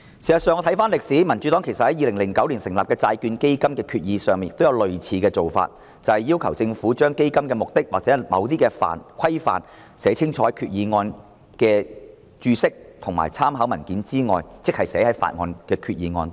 事實上，回看歷史，民主黨在2009年就成立債券基金的決議案，亦要求政府把基金的目的或規範清楚地在決議案內寫明，而非只在決議案的註釋及參考文件內解釋。